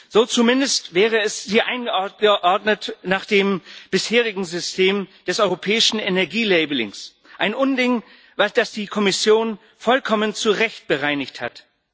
So zumindest wäre es hier eingeordnet nach dem bisherigen System des europäischen Energie Labellings ein Unding, das die Kommission vollkommen zu Recht bereinigt hat.